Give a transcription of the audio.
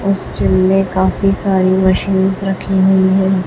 उस चिलने का काफी सारी मशीनस रखी हुई हैं।